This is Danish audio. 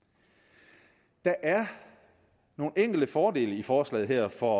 … der er nogle enkelte fordele i forslaget her for